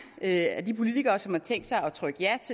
af de politikere som har tænkt sig